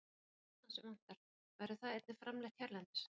Annað sem vantar, verður það einnig framleitt hérlendis?